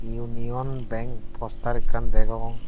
union bang poster ekkan degong.